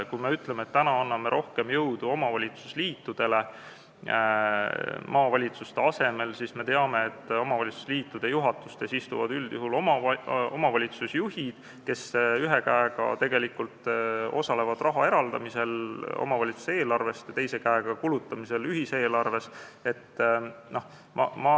Kui me ütleme, et anname maavalitsuste asemel rohkem jõudu omavalitsusliitudele, siis me teame, et omavalitsusliitude juhatustes istuvad üldjuhul omavalitsusjuhid, kes ühe käega osalevad raha eraldamises omavalitsuse eelarvest ja teise käega osalevad ühiseelarve kulutamises.